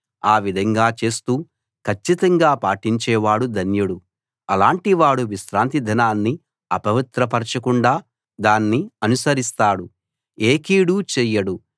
ఆ విధంగా చేస్తూ కచ్చితంగా పాటించేవాడు ధన్యుడు అలాటి వాడు విశ్రాంతిదినాన్ని అపవిత్రపరచకుండా దాన్ని అనుసరిస్తాడు ఏ కీడూ చేయడు